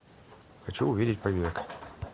хочу увидеть побег